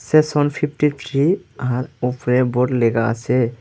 Section fifty three আর ওপরে board লেগা আছে।